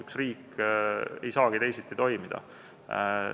Üks riik ei saagi teisiti toimida.